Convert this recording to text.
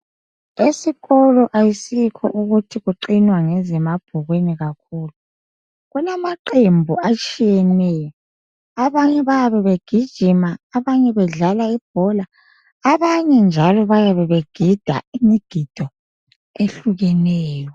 Esikolo ayisikho ukuthi kuqinwa ngezemabhukwini kakhulu kulamaqembu atshiyeneyo abanye bayabebegijima abanye bedlala ibhola abanye njalo bayabe begida imigido ehlukeneyo.